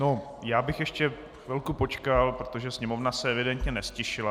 No, já bych ještě chvilku počkal, protože sněmovna se evidentně neztišila.